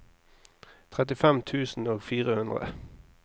trettifem tusen og fire hundre